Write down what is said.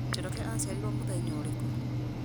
njoroge aciarirwo mũthenya ũrĩkũ